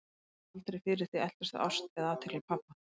Hún hafði aldrei fyrir því að eltast við ást eða athygli pabba.